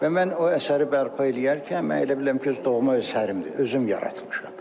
Və mən o əsəri bərpa eləyərkən, mən elə bilirəm ki, öz doğma əsərimdir, özüm yaratmışam.